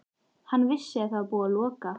Hann vissi að það var búið að loka